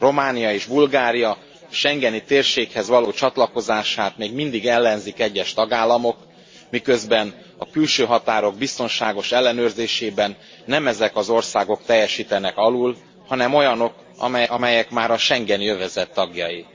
Románia és Bulgária schengeni térséghez való csatlakozását még mindig ellenzik egyes tagállamok, miközben a külső határok biztonságos ellenőrzésében nem ezek az országok teljesítenek alul, hanem olyanok, amelyek már a schengeni övezet tagjai.